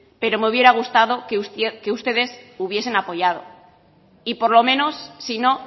pero me hubiera gustado que ustedes hubiesen apoyado y por lo menos si no